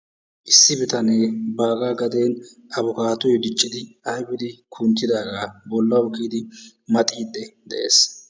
Issi bitanee baagaa gaden afkkaatoy diccidi ayfidi kunttidagaa bollawu kiyidi maxiiddi de"es.